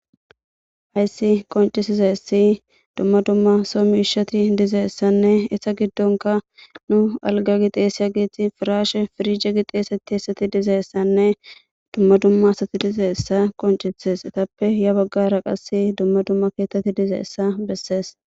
Hayssi qoncisizaessi dumma dumma soo miishati dizeessanne isa giddonka nu alga gixeeseya gieti firaashe firije gixeesetti hessati dizaessanne dumma dumma asati dizaessa qoncisees etappe ya baggara qas dumma dumma keettetti diza essa bessees.